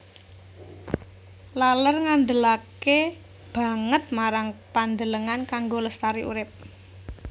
Laler ngandelaké banget marang pandelengan kanggo lestari urip